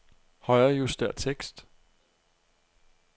Højrejuster tekst.